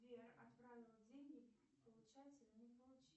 сбер отправила деньги получатель не получил